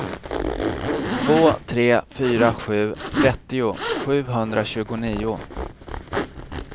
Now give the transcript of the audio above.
två tre fyra sju trettio sjuhundratjugonio